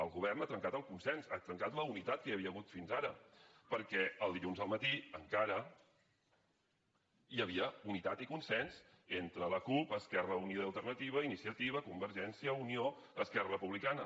el govern ha trencat el consens ha trencat la unitat que hi havia hagut fins ara perquè el dilluns al matí encara hi havia unitat i consens entre la cup esquerra unida i alternativa iniciativa convergència unió esquerra republicana